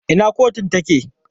Ina kotun take?